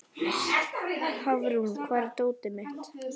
Hafrún, hvar er dótið mitt?